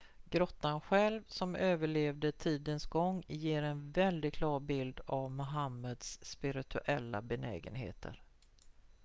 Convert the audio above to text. grottan själv som överlevde tidens gång ger en väldigt klar bild av mohammeds spirituella benägenheter